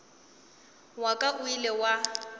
wa ka o ile wa